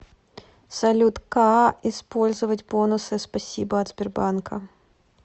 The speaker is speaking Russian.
салют каа использовать бонусы спасибо от сбербанка